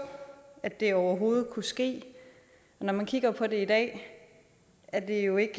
at det overhovedet kunne ske og når man kigger på det i dag er det jo ikke